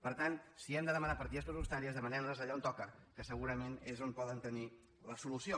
per tant si hem de demanar partides pressupostàries demanem les allà on toca que segurament és on poden tenir la solució